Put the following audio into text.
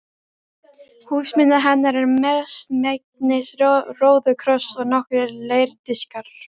Húsmunir hennar eru mestmegnis róðukross og nokkrir leirdiskar.